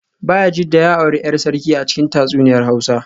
Bayajidda ya auri ‘yar sarki a cikin tatsuniyar Hausa